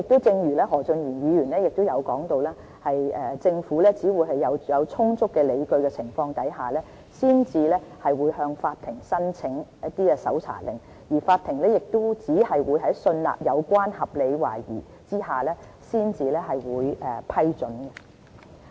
正如何俊賢議員提到，政府只會在有充足理據下，才會向法庭申請搜查令，而法庭亦只會在信納有關合理懷疑下才會批准。